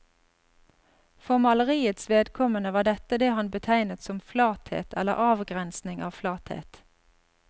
For maleriets vedkommende var dette det han betegnet som flathet eller avgrensing av flathet.